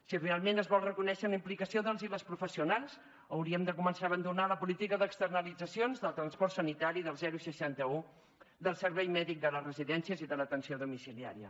si realment es vol reconèixer la implicació dels i de les professionals hauríem de començar a abandonar la política d’externalitzacions del transport sanitari del seixanta un del servei mèdic de les residències i de l’atenció domiciliària